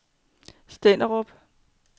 Stenderup